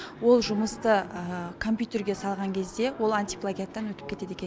ол жұмысты компьютерге салған кезде ол антиплагиаттан өтіп кетеді екен